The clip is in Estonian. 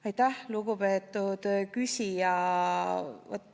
Aitäh, lugupeetud küsija!